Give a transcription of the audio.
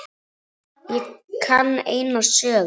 Ég kann eina sögu.